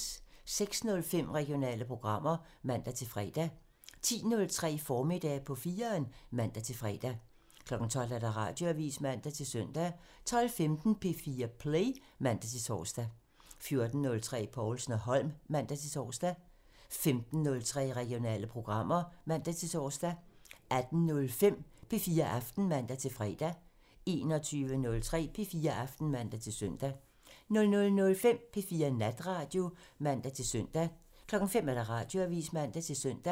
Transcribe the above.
06:05: Regionale programmer (man-fre) 10:03: Formiddag på 4'eren (man-fre) 12:00: Radioavisen (man-søn) 12:15: P4 Play (man-tor) 14:03: Povlsen & Holm (man-tor) 15:03: Regionale programmer (man-tor) 18:05: P4 Aften (man-fre) 21:03: P4 Aften (man-søn) 00:05: P4 Natradio (man-søn) 05:00: Radioavisen (man-søn)